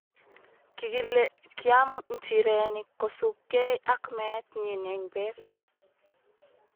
kikile kiam nchirenik kosubgei ak meet nyin eng beek